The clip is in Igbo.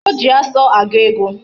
O ji asu agu ego